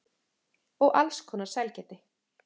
Og alls konar sælgæti.